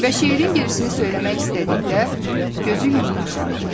Və şeirin gerisini söyləmək istədikdə, gözü yenə yaşardı.